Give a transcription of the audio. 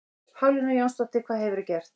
Pálína Jónsdóttir, hvað hefurðu gert?